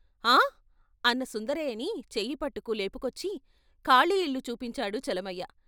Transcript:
ఆ అన్న సుందరయ్యని చెయ్యి పట్టుకు లేపుకొచ్చి ఖాళీ ఇల్లు చూపించాడు చలమయ్య.